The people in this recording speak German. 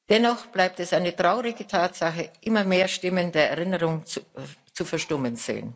Dennoch bleibt es eine traurige Tatsache Immer mehr Stimmen der Erinnerung verstummen.